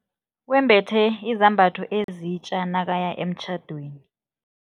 Wembethe izambatho ezitja nakaya emtjhadweni.